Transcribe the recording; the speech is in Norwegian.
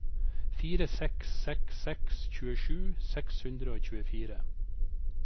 fire seks seks seks tjuesju seks hundre og tjuefire